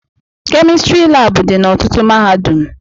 Kemịstrị labụ dị na ọtụtụ mahadum